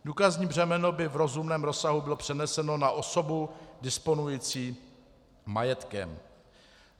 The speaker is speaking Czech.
Důkazní břemeno by v rozumném rozsahu bylo přeneseno na osobu disponující majetkem.